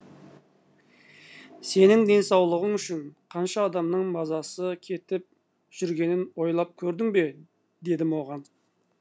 сенің денсаулығың үшін қанша адамның мазасы кетіп жүргенін ойлап көрдің бе дедім оған